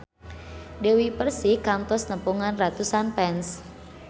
Dewi Persik kantos nepungan ratusan fans